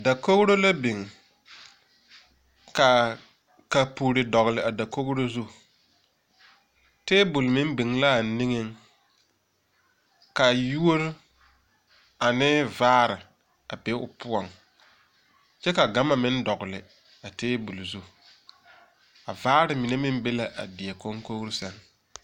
Dakogro la biŋ kaa kapurre dɔgle a dakogro zu tabol meŋ biŋ laa niŋeŋ ka yuore ane vaare a be o poɔŋ kyɛ ka gama meŋ dɔgle a tabol zu a vaare mine meŋ be la a die konkogriŋ sɛŋ.